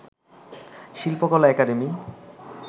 Shilpakala academy